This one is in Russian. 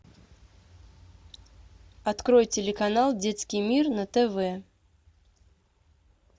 открой телеканал детский мир на тв